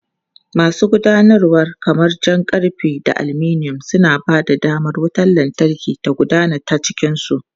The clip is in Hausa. Masu gudanarwa kamar jan karfe da aluminum, suna ba da damar wutar lantarki ta gudana ta cikin su.